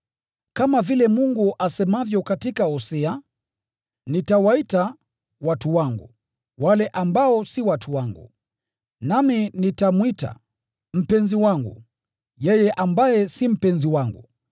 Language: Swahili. Kama vile Mungu asemavyo katika Hosea: “Nitawaita ‘watu wangu’ wale ambao si watu wangu; nami nitamwita ‘mpenzi wangu’ yeye ambaye si mpenzi wangu,”